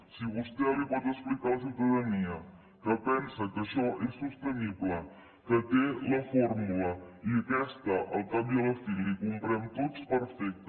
si vostè li pot explicar a la ciutadania que pensa que això és sostenible que té la fórmula i aquesta al cap i a la fi la hi comprem tots perfecte